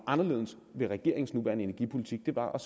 anderledes ved regeringens nuværende energipolitik var at